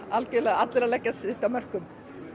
eru allir að leggja sitt af mörkum